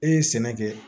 E ye sɛnɛ kɛ